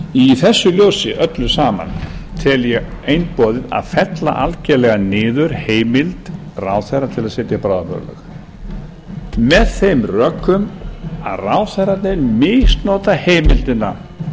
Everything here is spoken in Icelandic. í þessu ljósi öllu saman tel ég einboðið að fella algerlega niður heimild ráðherra til að setja bráðabirgðalög með þeim rökum að ráðherrarnir misnota heimildina það